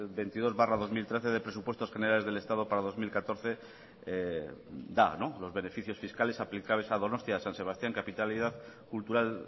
veintidós barra dos mil trece de presupuestos generales del estado para el dos mil catorce da los beneficios fiscales aplicables a donostia san sebastián